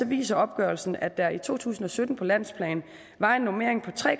viser opgørelsen at der i to tusind og sytten på landsplan var en normering på tre